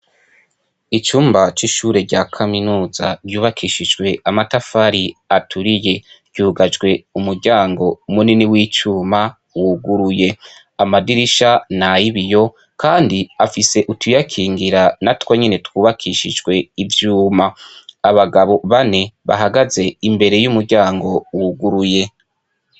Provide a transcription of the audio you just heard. Icumba c'ishuri rya kaminuza rubakishijwe amatafari aturiye ryugajwe umuryango munini w'icuma wuguruye, amadirisha ni ay'ibiyo kandi afise utuyakingira natwo nyene twubakishijwe ivyuma. Abagabo bane bahagaze imbere y'umuryango wuguruye.